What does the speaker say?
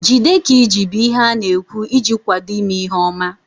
Jide ka iji bụ ihe ị na-ekwu iji kwado ime ihe ọma